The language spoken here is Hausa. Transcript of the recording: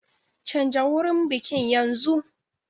Canja wurin bikin yanzu!